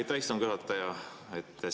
Aitäh, istungi juhataja!